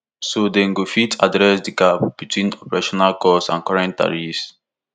so dem go fit address di gap between operational cost and current tariffs